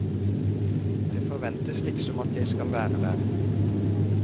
Det forventes liksom at jeg skal være der.